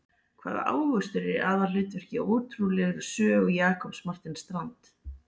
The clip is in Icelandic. Hvaða ávöxtur er í aðalhlutverki í ótrúlegri sögu Jakobs Martin Strand?